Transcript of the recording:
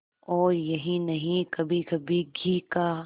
और यही नहीं कभीकभी घी का